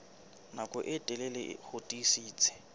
nako e telele ho tiisitse